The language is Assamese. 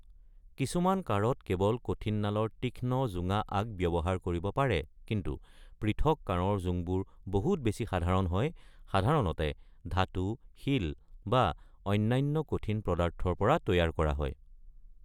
কিছুমান কাঁড়ত কেৱল কঠিন নালৰ তীক্ষ্ণ জোঙা আগ ব্যৱহাৰ কৰিব পাৰে, কিন্তু পৃথক কাঁড়ৰ জোংবোৰ বহুত বেছি সাধাৰণ হয়, সাধাৰণতে ধাতু, শিল বা অন্যান্য কঠিন পদাৰ্থৰ পৰা তৈয়াৰ কৰা হয়।